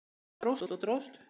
En það dróst og dróst.